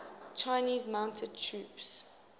chinese mounted troops